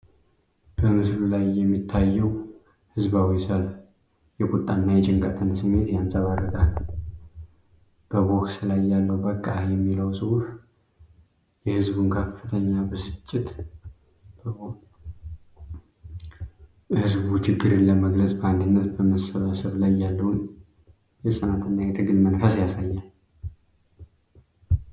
በምስሉ ላይ የሚታየው ህዝባዊ ሰልፍ የቁጣን እና የጭንቀትን ስሜት ያንፀባርቃል። በቦክስ ላይ ያለው “ በቃ!” የሚለው ጽሑፍ የሕዝቡን ከፍተኛ ብስጭት ያሳያል። ሕዝቡ ችግርን ለመግለጽ በአንድነት በመሰባሰብ ላይ ያለውን የጽናትና የትግል መንፈስ ያሳያል።